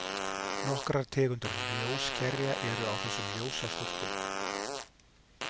Nokkrar tegundir ljóskerja eru á þessum ljósastólpum.